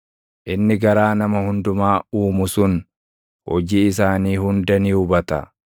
inni garaa nama hundumaa uumu sun, hojii isaanii hunda ni hubata.